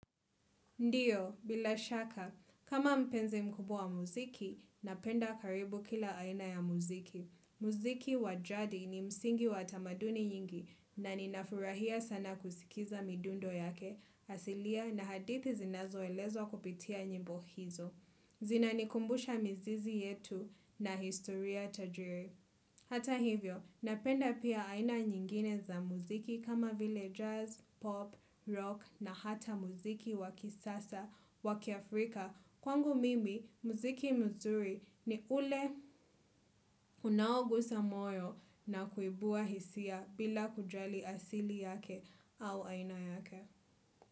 Ndiyo, bila shaka, kama mpenzi mkubwa wa muziki, napenda karibu kila aina ya muziki. Muziki wajadi ni msingi watamaduni nyingi na ninafurahia sana kusikiza midundo yake, asilia na hadithi zinazo elezwa kupitia nyimbo hizo. Zina nikumbusha mizizi yetu na historia tajiri. Hata hivyo, napenda pia aina nyingine za muziki kama vile jazz, pop, rock na hata muziki wakisasa wakiafrika. Kwangu mimi, muziki mzuri ni ule unaogusa moyo na kuibua hisia bila kujali asili yake au aina yake.